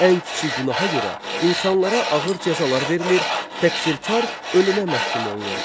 Ən kiçik günaha görə insanlara ağır cəzalar verilir, təqsirkar ölümə məhkum olunurdu.